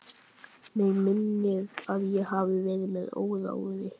Mig minnir að ég hafi verið með óráði.